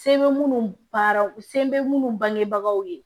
Se bɛ minnu baara se bɛ minnu bangebagaw ye